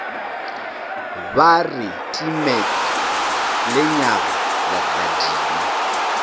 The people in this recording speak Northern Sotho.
ba re timet lenyaga legadima